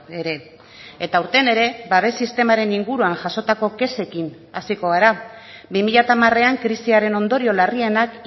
ere eta aurten ere babes sistemaren inguruan jasotako kexekin hasiko gara bi mila hamarean krisiaren ondorio larrienak